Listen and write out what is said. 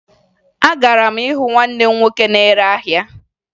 Agara m hụ nwanne m nwoke na-ere ahịa